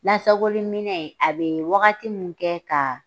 Lasakoli minɛn a bi wagati min kɛ ka